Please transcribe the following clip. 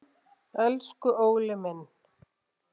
Elsku Óli minn.